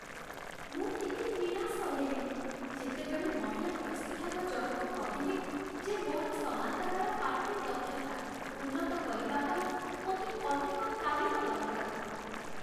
ମୁଁ ଟିକେ ନିରାଶ ହେଲି, ଯେତେବେଳେ ମହିଳା ପ୍ରଶିକ୍ଷକ ଜଣକ କହିଲେ ଯେ ମୋର ସମାନ୍ତରାଳ ପାର୍କିଂ ଦକ୍ଷତା ଉନ୍ନତ କରିବା ପାଇଁ ମୋତେ ଅଧିକ ତାଲିମ ଦରକାର।